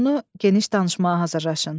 Məzmunu geniş danışmağa hazırlaşın.